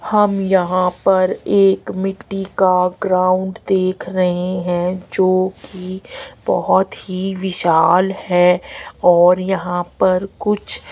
हम यहां पर एक मिट्टी का ग्राउंड देख रहे हैं जो कि बहुत ही विशाल है और यहां पर कुछ--